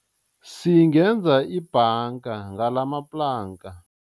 Singenza ibhanga ngalamaplanka.